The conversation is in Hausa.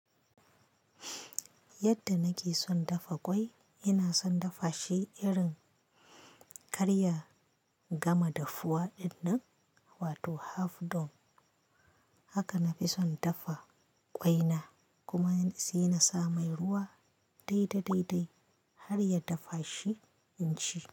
Yadda nake son dafa ƙwai, ina son dafa shi irin karya gama dafuwa dinnan, wato half done. Haka na fi son dafa ƙwaina kuma sai na sa mai ruwa dai da dai dai har ya dafa shi in ci.